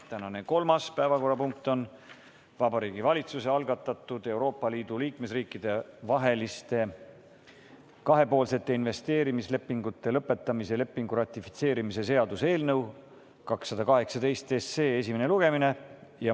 Tänane kolmas päevakorrapunkt on Vabariigi Valitsuse algatatud Euroopa Liidu liikmesriikide vaheliste kahepoolsete investeerimislepingute lõpetamise lepingu ratifitseerimise seaduse eelnõu 218 esimene lugemine.